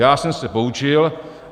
Já jsem se poučil.